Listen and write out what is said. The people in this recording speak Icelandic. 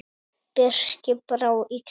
Birki brá illa.